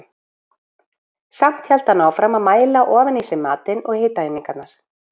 Samt hélt hann áfram að mæla ofan í sig matinn og hitaeiningarnar.